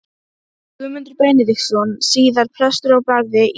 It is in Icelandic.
Guðmundur Benediktsson, síðar prestur á Barði í Fljótum.